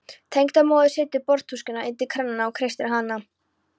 Tengdamóðirin setur borðtuskuna undir kranann og kreistir hana.